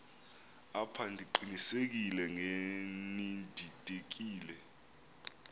apha ndiqinisekile ngenididekile